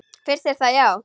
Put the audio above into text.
Finnst þér það já.